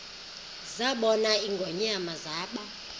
zabona ingonyama zaba